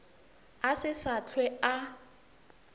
a se sa hlwe a